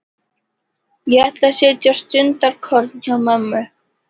Ég ætla að sitja stundarkorn hjá mömmu.